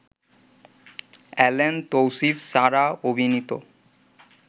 Allen, Tousif, Sarah অভিনীত